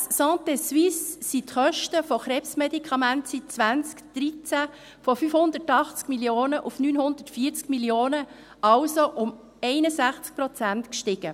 Gemäss Santésuisse sind die Kosten für Krebsmedikamente seit 2013 von 580 Mio. Franken auf 980 Mio. Franken, also um 61 Prozent gestiegen.